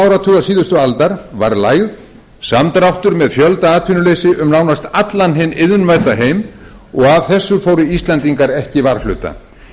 áratugar síðustu aldar var lægð samdráttur með fjöldaatvinnuleysi um nánast allan hinn iðnvædda heim og af þessu fóru íslendingar ekki varhluta